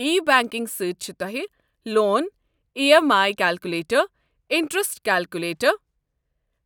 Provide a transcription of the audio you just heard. ای۔ Banking سۭتۍ چھِ تۄہہِ، loan E M I calculator, interest calculator,